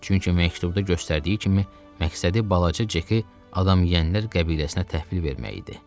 Çünki məktubda göstərdiyi kimi, məqsədi balaca Ceki adamyeyənlər qəbiləsinə təhvil vermək idi.